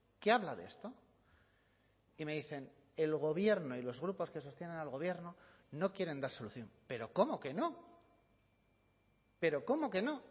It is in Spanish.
que habla de esto y me dicen el gobierno y los grupos que sostienen al gobierno no quieren dar solución pero cómo que no pero cómo que no